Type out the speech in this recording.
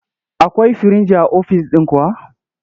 Akwai firinji a ofis ɗin kuwa?